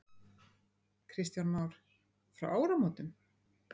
Kristján Már: Frá áramótum?